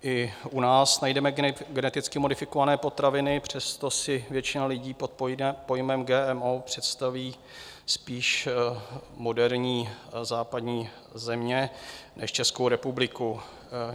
I u nás najdeme geneticky modifikované potraviny, přesto si většina lidí pod pojmem GMO představí spíš moderní západní země než Českou republiku.